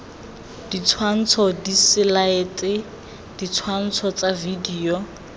ditshwantsho diselaete ditshwantsho tsa video